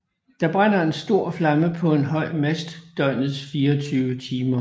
Der brænder en stor flamme på en høj mast døgnets 24 timer